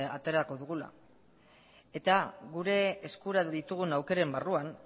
aterako dugula eta gure eskura ditugun aukeren barruan